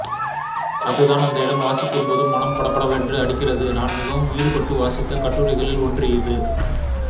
அதுதான் அந்த இடம் வாசிக்கும்போது மனம் படபடவென்று அடிக்கிறதுநான் மிகவும் ஈடுபட்டு வாசித்த கட்டுரைகளில் ஒன்று இது